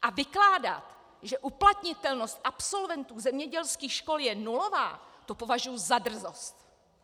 A vykládat, že uplatnitelnost absolventů zemědělských škol je nulová, to považuji za drzost.